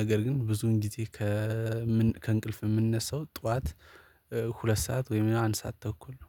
ነገር ግን ብዙን ጊዜ ከእንቅልፍ የምንነሳው ጠዋት። ሁለት ሰዓት ወይም አንድ ሰዓት ተኩል ነው